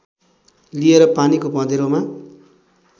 लिएर पानीको पँधेरोमा